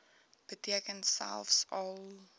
beteken selfs al